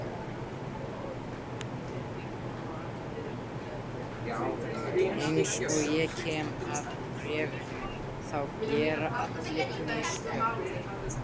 Eins og ég kem að í bréfinu þá gera allir mistök.